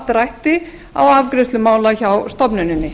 drætti á afgreiðslu mála hjá stofnuninni